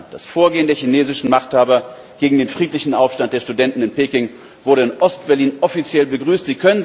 Das Vorgehen der chinesischen Machthaber gegen den friedlichen Aufstand der Studenten in Peking wurde in Ostberlin offiziell begrüßt!